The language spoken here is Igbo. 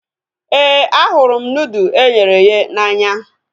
Éè, ahụrụ m nudụ eghere eghe n'anya